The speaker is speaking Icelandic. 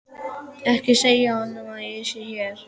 Ekki segja honum að ég sé hér.